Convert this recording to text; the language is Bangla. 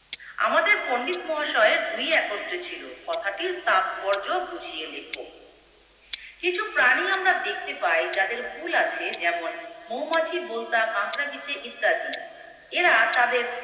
আমাদের পন্ডিত মহাশয় দুই একত্রে ছিলো কথাটির তাৎপর্য বুঝিয়ে লেখো। কিছু প্রাণী আমরা দেখতে পাই যাদের হুল আছে যেমন মৌমাছি, বোলতা, কাঁকড়াবিছে ইত্যাদি। এরা তাদের